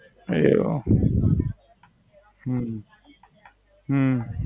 એવું હમ